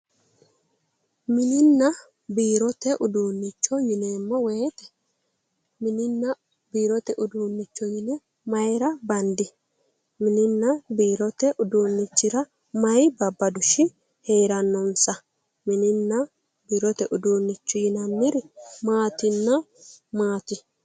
mininna biirote uduunnicho yineemmo woyte mininna biirote uduunnicho yine maayra bandi mininna biirote uduunnichira mayi babbadooshshi heerannonsa mininna biirote biirote uduunnichi yinanniri maatinna maati